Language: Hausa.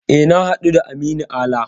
E, na haɗu da Aminu Ala.